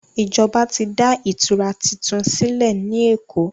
Ìjọba tí dá ìtura títún sílè ní èkó.